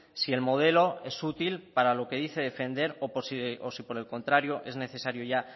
si el modelo es útil para lo que dice defender o si por el contrario es necesario ya